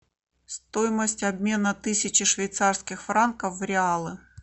стоимость обмена тысячи швейцарских франков в реалы